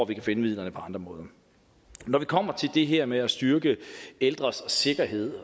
vi kan finde midlerne på andre måder når vi kommer til det her med at styrke ældres sikkerhed